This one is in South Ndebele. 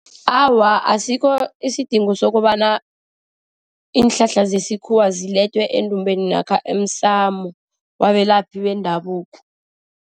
Awa, asikho isidingo sokobana iinhlahla zesikhuwa zilethwe endumbeni namkha emsamo wabelaphi bendabuko.